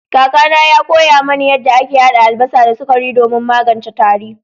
Kakana ya koya mani yadda ake hada albasa da sukari domin magance tari.